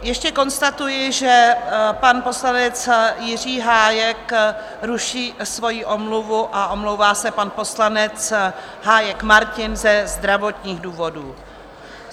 Ještě konstatuji, že pan poslanec Jiří Hájek ruší svojí omluvu a omlouvá se pan poslanec Hájek Martin ze zdravotních důvodů.